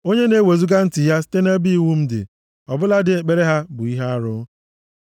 Onye na-ewezuga ntị ya site nʼebe iwu m dị, ọ bụladị ekpere ha bụ ihe arụ.